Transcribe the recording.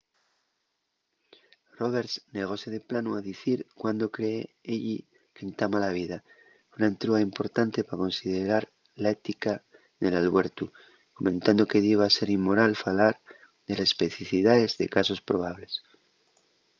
roberts negóse de planu a dicir cuándo cree elli qu’entama la vida una entruga importante pa considerar la ética del albuertu comentando que diba ser inmoral falar de les especificidaes de casos probables